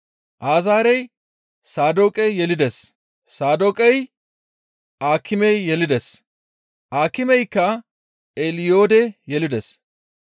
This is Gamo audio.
Azaarey Saadooqe yelides; Saadooqey Aakime yelides; Akimey Eliyoode yelides;